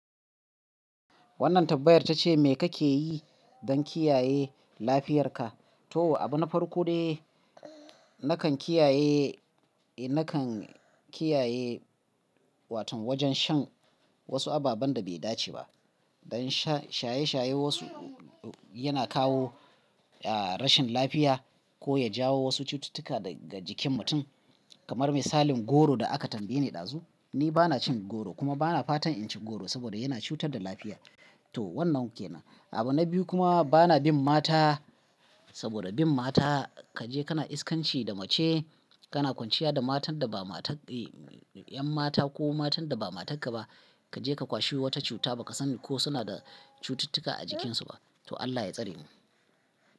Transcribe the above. Wannan tambayar tace me kake yi don kiyaye lafiyar ka? To abu na farko dai nakan kiyaye, nakan kiyaye watan wajen shan wasu ababen da bai dace ba. Don shaye-shaye wasu yana kawo rashin lafiya ko ya jawo wasu cututtuka daga jikin mutum kamar misalin goro da aka tambaye ni dazu. Ni bana cin goro kuma bana fatan in ci goro saboda yana cutar da lafiya. To wannan kenan. Abu na biyu kuma bana bin mata saboda bin mata kaje kana iskanci da mace, kana kwanciya da matan da ba matar, ƴan mata ko matan da ba matarka ba kaje ka kwashi wata cuta baka sani ko suna da cututtuka a jikinsu ba. To Allah ya tsare mu.